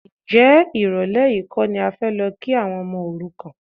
Ǹjẹ́ ìrọ̀lẹ́ yìí kọ́ ni a fẹ́ lọ kí àwọn ọmọ òrukàn?